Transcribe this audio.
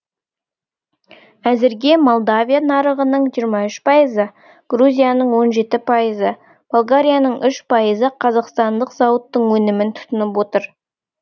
әзірге молдовия нарығының жиырма үш пайызы грузияның он жеті пайызы болгарияның үш пайызы қазақстандық зауыттың өнімін тұтынып отыр